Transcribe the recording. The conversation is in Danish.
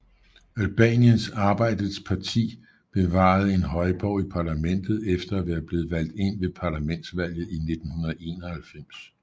Albaniens Arbejdets Parti bevarede en højborg i parlamentet efter at være blevet valgt ind ved parlamentsvalget i 1991